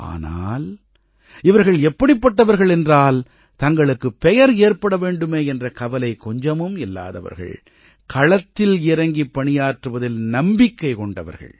ஆனால் இவர்கள் எப்படிப்பட்டவர்கள் என்றால் தங்களுக்குப் பெயர் ஏற்பட வேண்டுமே என்ற கவலை கொஞ்சமும் இல்லாதவர்கள் களத்தில் இறங்கிப் பணியாற்றுவதில் நம்பிக்கை கொண்டவர்கள்